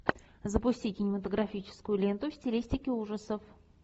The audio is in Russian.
запусти кинематографическую ленту в стилистике ужасов